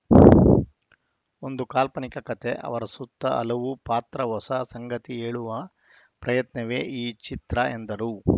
ಒಂದು ಕಾಲ್ಪನಿಕ ಕತೆ ಅವರ ಸುತ್ತ ಹಲವು ಪಾತ್ರ ಹೊಸ ಸಂಗತಿ ಹೇಳುವ ಪ್ರಯತ್ನವೇ ಈ ಚಿತ್ರ ಎಂದರು